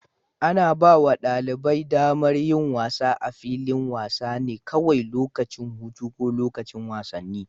Ana ba wa ɗalibai damar yin wasa a filin wasa ne kawai lokacin hutu ko lokacin wasanni.